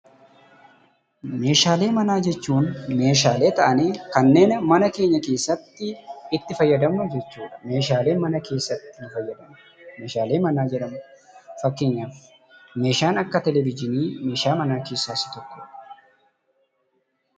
Meeshaalee manaa jechuun meeshaalee ta'anii kanneen mana keenya keessatti itti fayyadamnu jechuudha. Meeshaaleen mana keessatti itti fayyadamnu meeshaalee manaa jedhamu. Fakkeenyaaf meeshaan akka "teeleevizhinii" meeshaa manaa keessaa isa tokkodha.